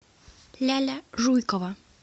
ляля жуйкова